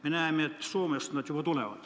Me näeme, et Soomest nad juba tulevad.